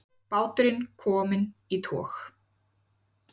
Báturinn kominn í tog